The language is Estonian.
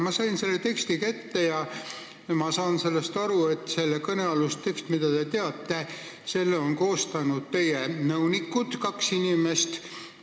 Ma sain selle teksti kätte ja ma saan aru nii, et selle on koostanud teie nõunikud, kaks inimest.